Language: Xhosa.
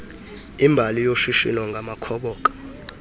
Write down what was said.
imbali yoshishino ngamakhoboka